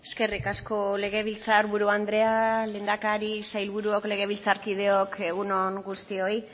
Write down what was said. eskerrik asko legebiltzar buru andrea lehendakaria sailburuok legebiltzarkideok egun on guztioi